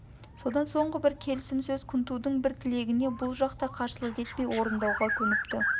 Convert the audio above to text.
содан соңғы бір келісім сөз күнтудың бір тілегіне бұл жақ та қарсылық етпей орындауға көніпті